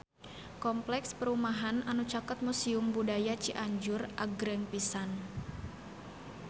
Kompleks perumahan anu caket Museum Budaya Cianjur agreng pisan